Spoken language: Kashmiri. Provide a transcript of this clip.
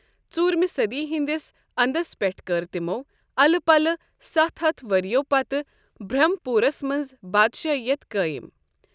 ژوٗرمہِ صٔدی ہٕنٛدِس اندس پٮ۪ٹھ كٔر تِمو اَلہٕ پَلہٕ ستھ ہتھ وٕرِیٕو پَتہٕ برٛھمپوٗرس منٛز بادشٲہیت قٲیم ۔